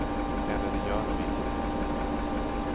Eller det gör nog inte det.